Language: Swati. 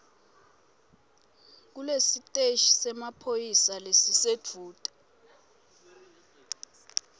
kulesiteshi semaphoyisa lesisedvute